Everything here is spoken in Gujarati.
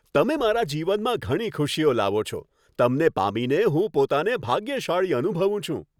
તમે મારા જીવનમાં ઘણી ખુશીઓ લાવો છો. તમને પામીને હું પોતાને ભાગ્યશાળી અનુભવું છું.